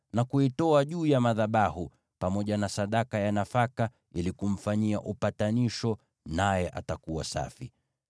na kuitoa juu ya madhabahu, pamoja na sadaka ya nafaka ili kumfanyia upatanisho, naye atakuwa safi.